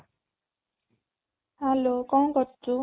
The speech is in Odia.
hello କ'ଣ କରୁଛୁ?